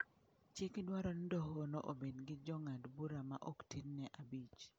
Chik dwaro ni dohono obed gi jong'ad bura ma ok tin ne abich.